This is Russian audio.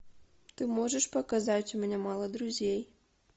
ты можешь показать у меня мало друзей